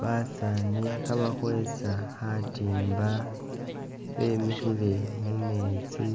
Basaani khabakhwesa khatimba bemikhile mumetsi